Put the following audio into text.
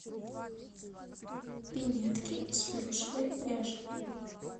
пинетки из плюшевой пряжи